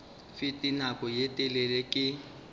fete nako ye telele ke